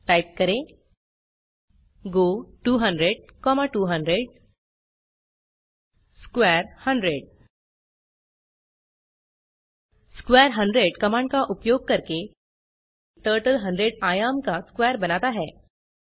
type करें go 200200 square 100 square 100 command का उपयोग करके टर्टल 100 आयाम का स्क्वेयर बनाता है